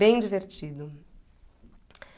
Bem divertido.